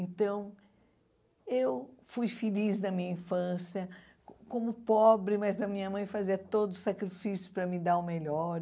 Então, eu fui feliz na minha infância, como pobre, mas a minha mãe fazia todo o sacrifício para me dar o melhor.